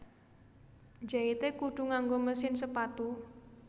Njaite kudu nganggo mesin sepatu